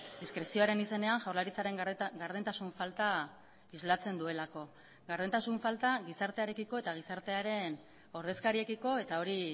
diskrezioaren izenean jaurlaritzaren gardentasun falta islatzen duelako gardentasun falta gizartearekiko eta gizartearen ordezkariekiko eta hori